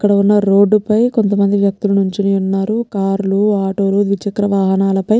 ఇక్కడున్న రోడ్డు పై కొంతమంది వ్యక్తులు నిలుచూనివున్నారు కార్ లు ఆటో లు ద్విచక్ర వాహనాలపై --